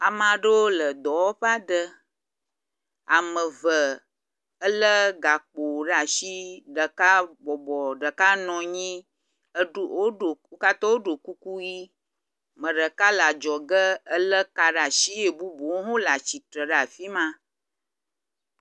Ame aɖewo le dɔwɔƒe aɖe. Ame eve elé gakpo ɖe asi. Ɖeka bɔbɔ, ɖeka nɔ anyi eɖo wo katã woɖo kuku ʋi. Ame ɖeka le adzɔge elé ka ɖe asi ye bubuwo hã le atsitre ɖe afi ma.